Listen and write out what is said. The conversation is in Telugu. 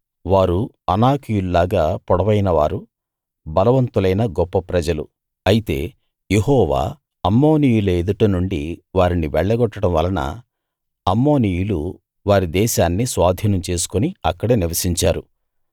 వారు అనాకీయుల్లాగా పొడవైన వారు బలవంతులైన గొప్ప ప్రజలు అయితే యెహోవా అమ్మోనీయుల ఎదుట నుండి వారిని వెళ్లగొట్టడం వలన అమ్మోనీయులు వారి దేశాన్ని స్వాధీనం చేసుకుని అక్కడ నివసించారు